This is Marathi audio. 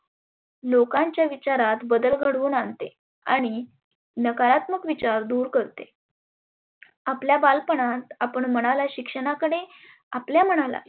लोकांच्या विचारात बदल घडवून आनते. आणि नकारात्मक विचार दुर करते. आपला बालपणात आपण मनाला शिक्षणाकडे आपल्या मनाला